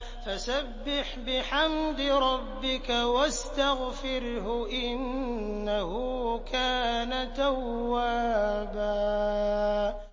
فَسَبِّحْ بِحَمْدِ رَبِّكَ وَاسْتَغْفِرْهُ ۚ إِنَّهُ كَانَ تَوَّابًا